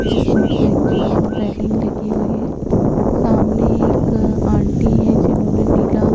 जिसमें खिड़की और रैलिंग लगी हुई है सामने एक आंटी हैं जिन्होंने नीला --